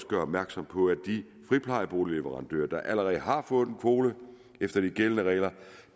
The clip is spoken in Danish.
gøre opmærksom på at de friplejeboligleverandører der allerede har fået en kvote efter de gældende regler